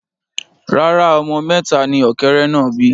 Rárá, ọmọ mẹta ni ọ̀kẹ́rẹ́ náà bí